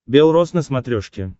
бел роз на смотрешке